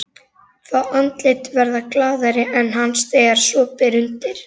Fá andlit verða glaðari en hans þegar svo ber undir.